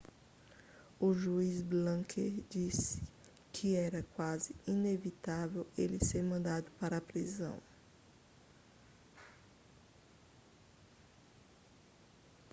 o juiz blake disse que era quase inevitável ele ser mandado para a prisão